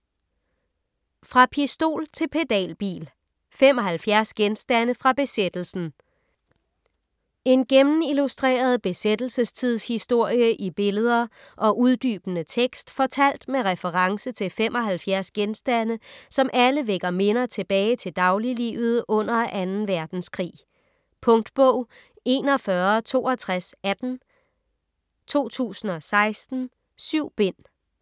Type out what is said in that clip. Fra pistol til pedalbil: 75 genstande fra besættelsen En gennemillustreret besættelsestidshistorie i billeder og uddybende tekst fortalt med reference til 75 genstande, som alle vækker minder tilbage til dagliglivet under 2. verdenskrig. Punktbog 416218 2016. 7 bind.